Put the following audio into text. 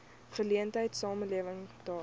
geleentheid samelewing daag